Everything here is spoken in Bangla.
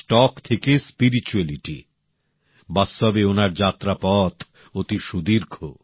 স্টক থেকে আধ্যাত্মিকতা বাস্তবে ওনার যাত্রা পথ অতি সুদীর্ঘ